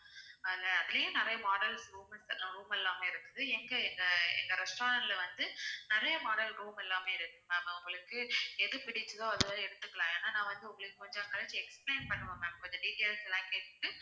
அதுல அதுலயே நிறைய models roomates எல்லாம் room எல்லாமே இருக்குது எங்க இந்த எங்க restaurant ல வந்து நிறைய model room எல்லாமே இருக்கு ma'am உங்களுக்கு எது பிடிச்சுதோ அது வரை எடுத்துக்கலாம் ஏன்னா நான் வந்து உங்களுக்கு கொஞ்சம் கழிச்சு explain பண்ணுவேன் ma'am கொஞ்சம் details லாம் கேட்டுட்டு